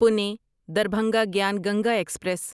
Pune Darbhanga Gyan Ganga express